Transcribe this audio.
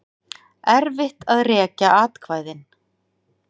Erfitt að rekja atkvæðin